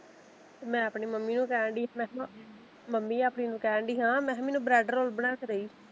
ਮੈਂ ਆਪਣੀ ਮੰਮੀ ਨੂੰ ਕਹਿਨਡੀ ਸੀ ਮੈਂ ਕਿਹਾ ਮੰਮੀ ਆਪਣੀ ਨੂੰ ਕਹਿਣ ਡੀ ਹਾਂ ਮੈਂ ਕਿਹਾ ਮੈਨੂੰ ਬਰੈਡ ਰੋਲ ਬਣਾ ਕੇ ਦੇਈ।